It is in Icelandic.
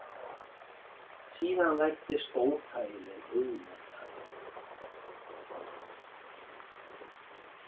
Síðan læddist óþægileg hugmynd að mér.